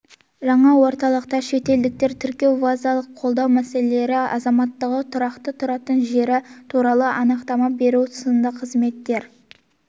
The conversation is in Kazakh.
жаңа орталықта шетелдіктерді тіркеу визалық қолдау мәселелері азаматтығы тұрақты тұратын жері туралы анықтама беру сынды қызметтер